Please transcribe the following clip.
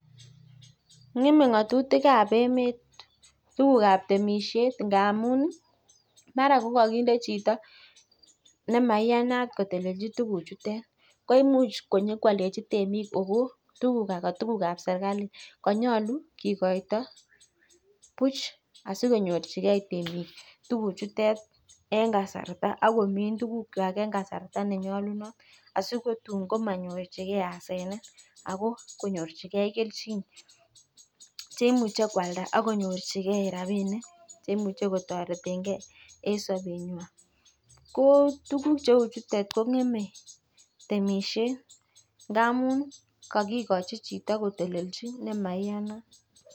N'gemei ng'atutiab emet tukukab temishet ngamun mara kokakinde chito nemaiyanat kotelelchi tukuchutet ko imuch konyokoaldechi temik ako ka tukukab kanyolu kikoito buch. Asikonyorchikei temik eng kasarta akomin tukukwai eng kasarta ne nyolunot asikotun kamanyorchikei asenet ako konyorchigei keljin. Cheimuchei koalda ak konyorchikei rapinik che imuchei kotoretengei eng sobet. Ko tukuk cheu chutet kong'emei temishet ndamun kakikochi chito kotelelchi nemaiyanat.